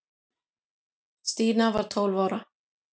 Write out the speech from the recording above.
Stína var tólf ára.